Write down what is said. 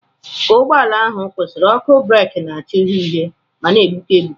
Ka ụgbọ ala ahụ kwụsịrị, ọkụ breeki na-acha uhie uhie ma na-egbuke egbuke.